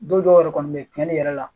Don dɔw yɛrɛ kɔni bɛ yen cɛni yɛrɛ la